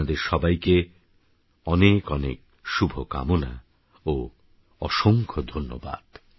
আপনাদেরসবাইকেঅনেকঅনেকশুভকামনাওঅসংখ্যধন্যবাদ